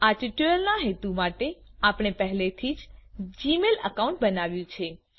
આ ટ્યુટોરીયલના હેતુ માટે આપણે પહેલેથી જ જીમેલ એકાઉન્ટ બનાવ્યું છે